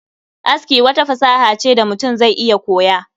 Aski wata fasaha ce da mutum zai iya koya